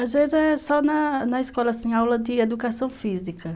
Às vezes é só na na escola, assim, aula de educação física.